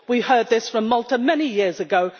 We heard this from Malta many years ago